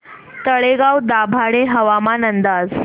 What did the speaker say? तळेगाव दाभाडे हवामान अंदाज